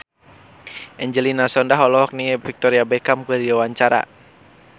Angelina Sondakh olohok ningali Victoria Beckham keur diwawancara